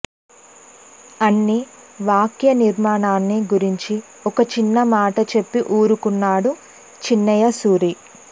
అని వాక్య నిర్మాణాన్ని గురించి ఒక చిన్న మాట చెప్పి ఊరుకున్నాడు చిన్నయ సూరి